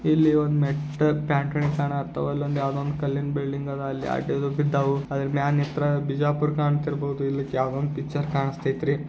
ಇಲ್ಲಿ ಒಂದು ಮೇಟ್ ತಾಣ ಹತ್ತುವಲ್ಲೆ ಅಲ್ಲಿ ಒಂದು ಕಲ್ಲಿನ ಬಿಲ್ಡಿಂಗ್ ಆದ ಅಲ್ಲಿ ಬಿದ್ದಾವು ಅದರ ಮ್ಯಾಲೆ ನಿಂತರೆ ಬಿಜಾಪುರ ಕಣ್ತಾ ಇರಬಹುದು ಇಲ್ಲಿಕ ಯಾವುದೋ ಒಂದು ಪಿಕ್ಚರ್ ಕಾಣಿಸ್ತೈ ರೀ.